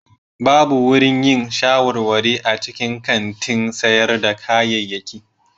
Babu wurin yin shawarwari a cikin kantin sayar da kayayyaki.